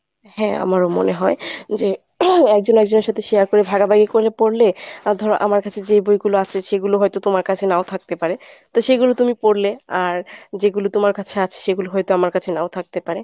হ্যাঁ আমারও মনে হয় যে একজন আরেকজনের সাথে share করে ভাগাভাগি করে পড়লে ধর আমার কাছে যে বইগুলো আছে সেইগুলো হয়ত তোমার কাছে নাও থাকতে পারে তো সেই গুলো তুমি পড়লে আর যেগুলো তোমার কাছে আছে সেগুলো হয়ত আমার কাছে নাও থাকতে পারে অ